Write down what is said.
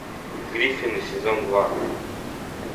гриффины сезон два